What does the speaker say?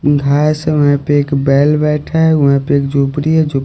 घास है वहां पे एक बैल बैठा है वहां पे एक जोपड़ी है जो--